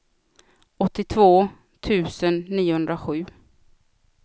åttiotvå tusen niohundrasju